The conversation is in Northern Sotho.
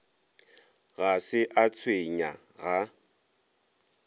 ga se a tshwenya ga